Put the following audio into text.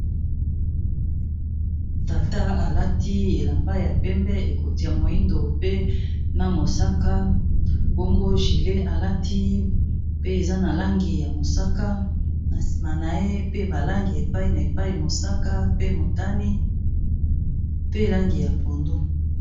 tata alati elamba ya pembe ekotia moindo pe na mosaka bango gilet alati pe eza na langi ya mosaka na nsima na ye pe balangi epai na epai mosaka pe motani pe langi ya pondu